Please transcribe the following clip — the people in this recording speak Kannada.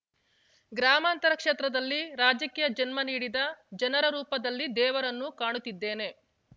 ಗ್ರಾಮಾಂತರ ಕ್ಷೇತ್ರದಲ್ಲಿ ರಾಜಕೀಯ ಜನ್ಮ ನೀಡಿದ ಜನರ ರೂಪದಲ್ಲಿ ದೇವರನ್ನು ಕಾಣುತ್ತಿದ್ದೇನೆ